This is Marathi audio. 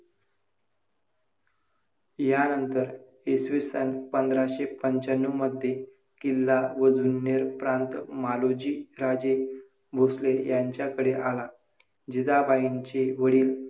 कारण नैसर्गिक किंवा मानवनिर्मित म्हणावी लागतील.